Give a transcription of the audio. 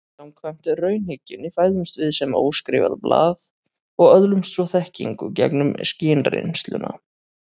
Samkvæmt raunhyggjunni fæðumst við sem óskrifað blað og öðlumst svo þekkingu gegnum skynreynsluna.